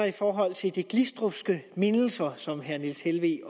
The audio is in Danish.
i forhold til de glistrupske mindelser som herre niels helveg